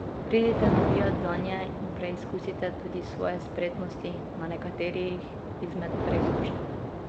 Pridite navijat zanje in preizkusite tudi svoje spretnosti na nekaterih izmed preizkušenj.